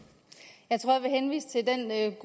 af